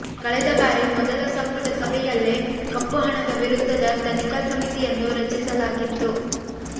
ಕಳೆದ ಬಾರಿ ಮೊದಲ ಸಂಪುಟ ಸಭೆಯಲ್ಲೇ ಕಪ್ಪು ಹಣದ ವಿರುದ್ಧದ ತನಿಖಾ ಸಮಿತಿಯನ್ನು ರಚಿಸಲಾಗಿತ್ತು